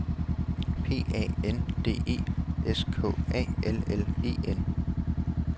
P A N D E S K A L L E N